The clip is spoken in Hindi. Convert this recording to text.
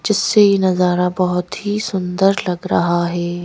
जिससे ये नजारा बहुत ही सुंदर लग रहा है।